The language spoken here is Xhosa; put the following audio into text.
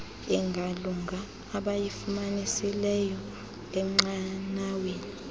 engalunga abayifumanisileyo enqanaweni